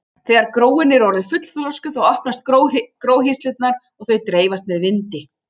Þegar gróin eru orðin fullþroskuð þá opnast gróhirslurnar og þau dreifast með vindi.